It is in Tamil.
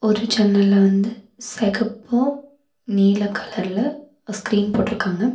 ஒரு ஜன்னல்ல வந்து செகப்பு நீல கலர்ல ஸ்கிரீன் போட்ருக்காங்க.